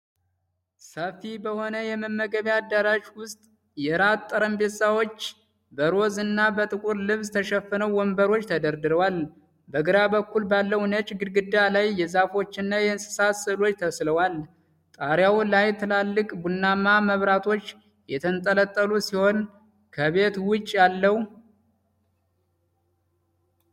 ሰፊ በሆነ የመመገቢያ አዳራሽ ውስጥ የራት ጠረጴዛዎች በሮዝ እና በጥቁር ልብስ ተሸፍነው ወንበሮች ተደርድረዋል። በግራ በኩል ባለው ነጭ ግድግዳ ላይ የዛፎችና የእንስሳት ሥዕሎች ተስለዋል። ጣሪያው ላይ ትልልቅ ቡናማ መብራቶች የተንጠለጠሉ ሲሆን ከቤት ውጭ ያለው ።